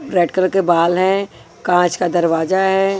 Red colour के बाल हैं कांच का दरवाजा है।